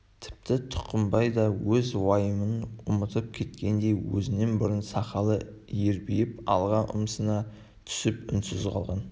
тіпті тұқымбай да өз уайымын ұмытып кеткендей өзінен бұрын сақалы ербиіп алға ұмсына түсіп үнсіз қалған